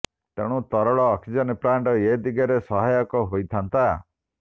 ତେଣୁ ତରଳ oxygen plant ଏ ଦିଗରେ ସହାୟକ ହୋଇଥାନ୍ତା